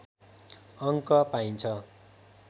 अङ्क पाइन्छ